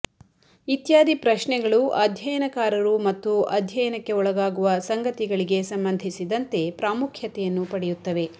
ಇತ್ಯಾದಿ ಪ್ರಶ್ನೆಗಳು ಅಧ್ಯಯನಕಾರರು ಮತ್ತು ಅಧ್ಯಯನಕ್ಕೆ ಒಳಗಾಗುವ ಸಂಗತಿಗಳಿಗೆ ಸಂಬಂಧಿಸಿದಂತೆ ಪ್ರಾಮುಖ್ಯತೆಯನ್ನು ಪಡೆಯುತ್ತವೆ